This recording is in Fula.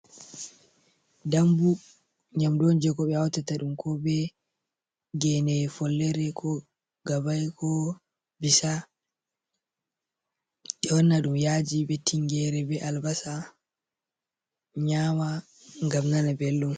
Dambu :nyamdu on je ko be hautata ɗum ko be gene follere, ko gabai ko bisa ɓe wanna ɗum yaji be tingere be albasa nyama ngam nana belɗum.